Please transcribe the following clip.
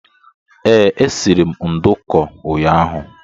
Ee, e siri m ndùkú ụnyaahụ